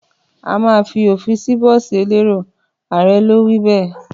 Àmà fi òpin bọ̀sí ẹlẹrò; Àré lò wí bẹ